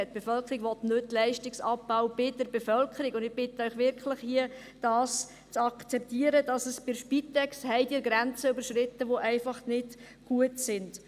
Die Bevölkerung will keinen Leistungsabbau bei der Bevölkerung, und ich bitte Sie wirklich, zu akzeptieren, dass bei der Spitex Grenzen überschritten sind, die einfach nicht gut sind.